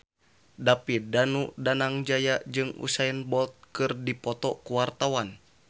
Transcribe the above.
David Danu Danangjaya jeung Usain Bolt keur dipoto ku wartawan